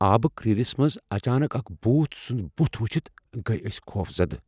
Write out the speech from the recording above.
آبہٕ كر٘رِس منز اچانك اكھ بھوٗت سٗند بٗتھ وٗچھِتھ گیہ اسہِ خوفزدٕ ۔